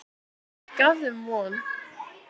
Gaf þeim von.